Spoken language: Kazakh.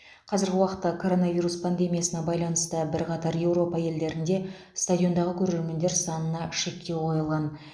қазіргі уақытта коронавирус пандемиясына байланысты бірқатар еуропа елдерінде стадиондағы көрермендер санына шектеу қойылған